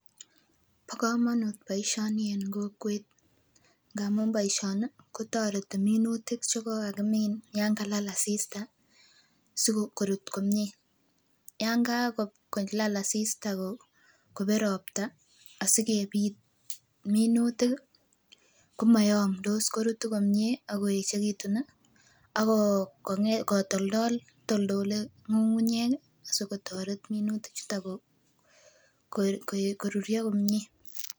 Bo komonut boisioni en kokwet amun boisioni kotoreti minutik chekokimin yan kalal asista sikorut komie. Yan kakolal asista kobet ropta asikebit minutik ih komoyomdos korutu komie akoeechekitun ih akotoltol, itoltole ng'ung'unyek ih sikotoret minutik chuton koruryo komie